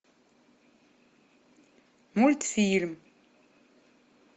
мультфильм